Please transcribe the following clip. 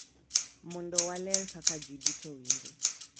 Mondo waler kaka ji duto winjo